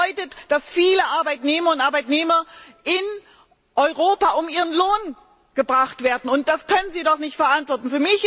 Das bedeutet, dass viele Arbeitnehmerinnen und Arbeitnehmer in Europa um ihren Lohn gebracht werden. Das können Sie doch nicht verantworten!